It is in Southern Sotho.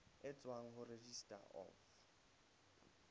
e tswang ho registrar of